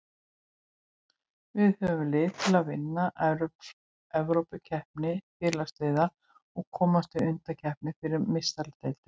Við höfum lið til að vinna Evrópukeppni Félagsliða og komast í undankeppni fyrir Meistaradeildina.